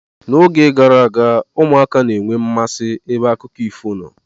N'oge gara aga, ụmụaka na enwe mmasị ebe akụkọ ifo nọ.